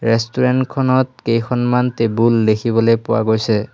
Restaurant খনত কেইখনমান table দেখিবলৈ পোৱা গৈছে।